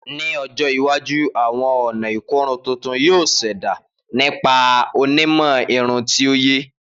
Ni ọjọ iwaju awọn ọna ikorun tuntun yoo ṣẹda nipasẹ onimọ irun ti oye.